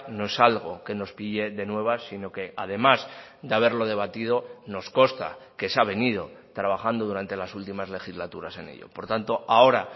no es algo que nos pille de nuevas sino que además de haberlo debatido nos consta que se ha venido trabajando durante las últimas legislaturas en ello por tanto ahora